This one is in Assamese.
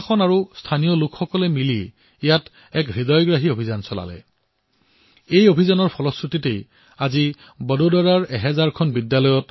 বন্ধুসকল এই বাৰিষাত প্ৰকৃতিৰ ৰক্ষাৰ বাবে পৰিবেশৰ ৰক্ষাৰ বাবে আমি এইদৰে চিন্তা কৰিব লাগে